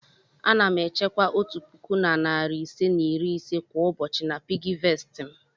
Ana m echekwa otu puku na narị ise na iri ise kwa ụbọchị na piggyvest m.